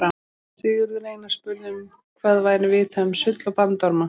sigurður einar spurði um hvað væri vitað um sull og bandorma